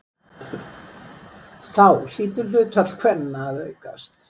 Þá hlýtur hlutfall kvenna að aukast!